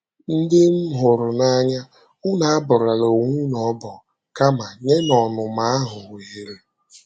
Ndị m hụrụ n’anya, unu abọrọla onwe unu ọbọ, kama nyenụ ọnụma ahụ ohere. ”